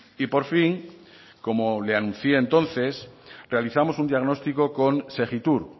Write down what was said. y por fin como le anuncié entonces realizamos un diagnóstico con segittur